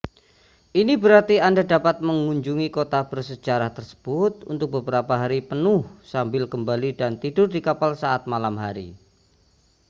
ini berarti anda dapat mengunjungi kota bersejarah tersebut untuk beberapa hari penuh sambil kembali dan tidur di kapal saat malam hari